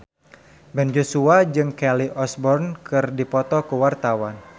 Ben Joshua jeung Kelly Osbourne keur dipoto ku wartawan